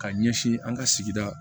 Ka ɲɛsin an ka sigida